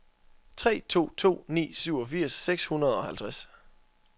tre to to ni syvogfirs seks hundrede og halvtreds